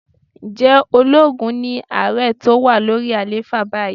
Ǹjẹ́ ológun ni ààrẹ tó wà lórí àlééfà báyìí?